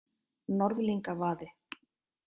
Norðlingavaði